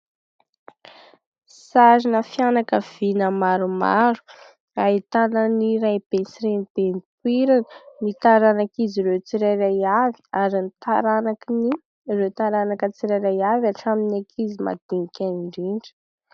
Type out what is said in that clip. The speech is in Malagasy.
Sarina fianakaviana maromaro, ahitana ny raibe sy renibe nipoirana ny taranak' izy ireo tsirairay avy ary ny taranaky ny ireo taranaka tsirairay avy hatramin'ny ankizy madinika any indrindra.